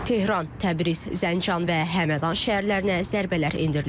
Tehran, Təbriz, Zəncan və Həmədan şəhərlərinə zərbələr endirilib.